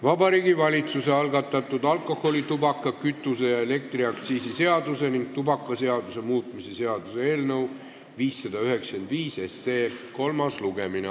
Vabariigi Valitsuse algatatud alkoholi-, tubaka-, kütuse- ja elektriaktsiisi seaduse ning tubakaseaduse muutmise seaduse eelnõu 595 kolmas lugemine.